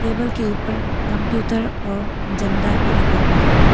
Table के ऊपर computer और झंडा भी रखा हुआ है।